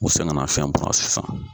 U sɛkɛn nafiyɛn bara sisan.